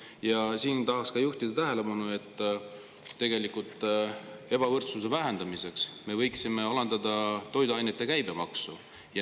Ja siin tahaks juhtida tähelepanu, et ebavõrdsuse vähendamiseks me võiksime alandada toiduainete käibemaksu.